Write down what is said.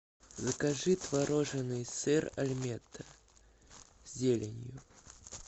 закажи творожный сыр альметте с зеленью